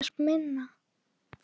Það var ekkert minna.